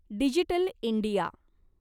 digital India